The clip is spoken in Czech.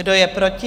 Kdo je proti?